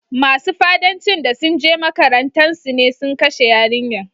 Masun fa'addanci da sun je makarantan su ne sun kashe yarinyan.